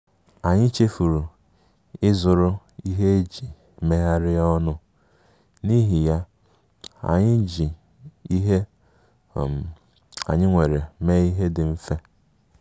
Anyị chefuru ịzụrụ ihe eji megharịa ọnụ, n’ihi ya, anyị ji ihe um anyị nwere mee ihe dị mfe